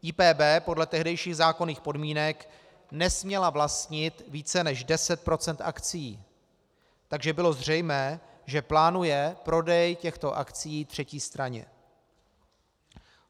IPB podle tehdejších zákonných podmínek nesměla vlastnit více než 10 % akcií, takže bylo zřejmé, že plánuje prodej těchto akcií třetí straně.